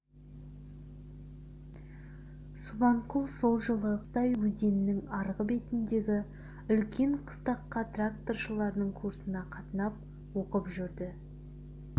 субанқұл сол жылы қыстай өзеннің арғы бетіндегі үлкен қыстаққа тракторшылардың курсына қатынап оқып жүрді